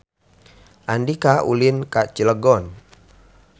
Andika ulin ka Cilegon